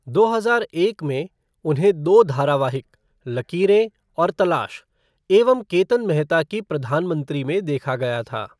दो हजार एक में, उन्हें दो धारावाहिक, लकीरें और तलाश, एवं केतन मेहता की प्रधान मंत्री में देखा गया था।